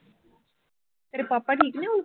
ਤੇਰੇ ਪਾਪਾ ਠੀਕ ਨੇ ਹੁਣ